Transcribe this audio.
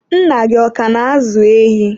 Nna gị ọ ka na-ázụ̀ ehi?